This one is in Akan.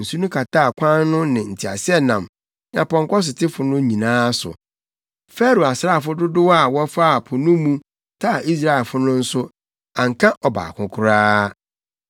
Nsu no kataa kwan no ne nteaseɛnam ne apɔnkɔsotefo no nyinaa so. Farao asraafo dodow a wɔfaa po no mu taa Israelfo no nso, anka ɔbaako koraa.